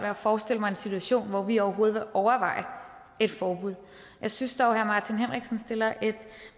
at forestille mig en situation hvor vi overhovedet vil overveje et forbud jeg synes dog herre martin henriksen stiller et